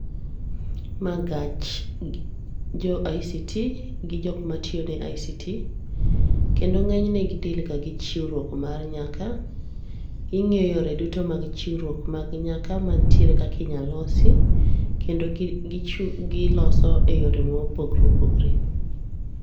Ma gach jo ICT gi jok ma tiyo ne ICT, kendo ng'eny ne gi deal ga gi chiwruok mar nyaka. Ging'iyo yore duto mag chiwruok mag nyaka mantiere kakinyal losi, kendo gi gichu giloso e yore mopogre opogre.